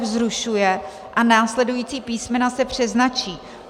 f) zrušuje a následující písmena se přeznačí.